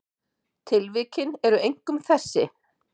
Tilvikin eru einkum þessi